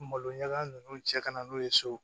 Maloɲaga ninnu cɛ ka na n'o ye so